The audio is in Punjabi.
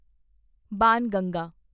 ਬਾਣਗੰਗਾ